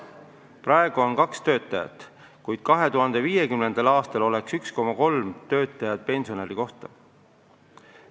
Praegu on kaks töötajat pensionäri kohta, kuid 2050. aastal oleks pensionäri kohta 1,3 töötajat.